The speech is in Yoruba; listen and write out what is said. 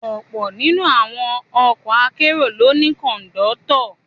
Ọ̀pọ̀ nínú àwọn ọkọ akérò ló ní Kọ̀ńdọ́tọ̀